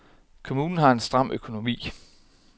Kommunen har en stram økonomi.